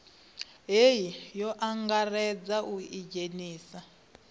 hei o angaredza u idzhenisa